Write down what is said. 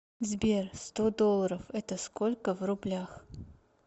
сбер сто долларов это сколько в рублях